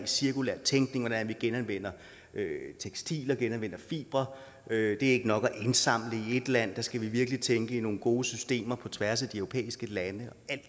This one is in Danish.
cirkulær tænkning hvordan vi genanvender tekstiler genanvender fibre det ikke nok at indsamle i et land vi skal virkelig tænke nogle gode systemer på tværs af de europæiske lande